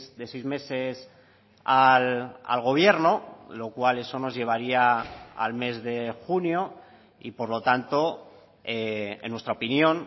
de seis meses al gobierno lo cual eso nos llevaría al mes de junio y por lo tanto en nuestra opinión